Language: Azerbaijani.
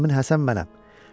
Həmin Həsən mənəm.